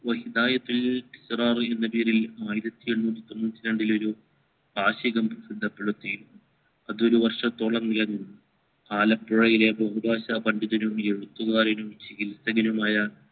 വഹിദായത്തുൽ എഴുനൂറ്റി തൊണ്ണൂറ്റി രണ്ടില്ലേ ഒരു വാർഷികം പ്രസിദ്ധപെടുത്തി അത് ഒരു വർഷത്തോളം നിലനിന്നു ആലപ്പുഴയിലെ ബഹുഭാഷാ പണ്ഡിതനും എഴുത്തുകാരനുമായ ചികിൽസികനുമായ